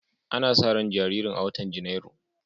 Ana sa ran jaririn a watan Janairu.